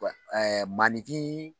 Ɛɛ maaninfin